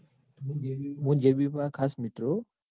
જેબીપુરા ખાસ મિત્રો